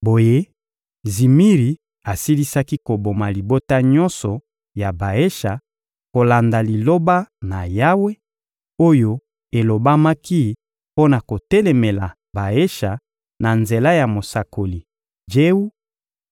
Boye, Zimiri asilisaki koboma libota nyonso ya Baesha kolanda Liloba na Yawe, oyo elobamaki mpo na kotelemela Baesha na nzela ya mosakoli Jewu;